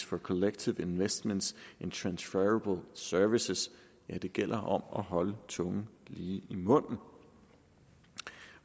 for collective investments in transferable securities ja det gælder om at holde tungen lige i munden